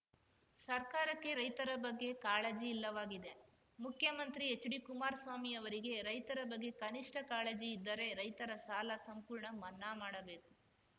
ಸರ್ಕಾರಕ್ಕೆ ರೈತರ ಬಗ್ಗೆ ಕಾಳಜಿ ಇಲ್ಲವಾಗಿದೆ ಮುಖ್ಯಮಂತ್ರಿ ಎಚ್‌ಡಿ ಕುಮಾರಸ್ವಾಮಿ ಅವರಿಗೆ ರೈತರ ಬಗ್ಗೆ ಕನಿಷ್ಠ ಕಾಳಜಿ ಇದ್ದರೆ ರೈತರ ಸಾಲ ಸಂಪೂರ್ಣ ಮನ್ನಾ ಮಾಡಬೇಕು